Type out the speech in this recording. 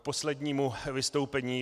K poslednímu vystoupení.